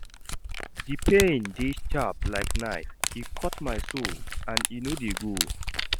Di pain dey sharp like knife, e cut my soul and e no dey go.